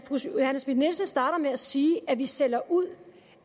schmidt nielsen starter med at sige at vi sælger ud